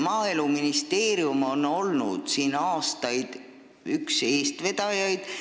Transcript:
Maaeluministeerium on olnud aastaid üks selle eestvedajaid.